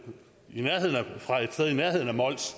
i nærheden af mols